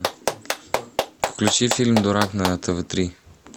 включи фильм дурак на тв три